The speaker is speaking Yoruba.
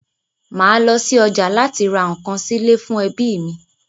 Màá lọ́ sí ọjà láti ra nǹkan sílé fún ẹbí mi.